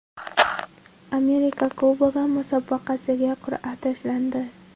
Amerika Kubogi musobaqasiga qur’a tashlandi.